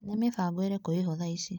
Nĩ mĩbango ĩrĩko ĩho thaa ici?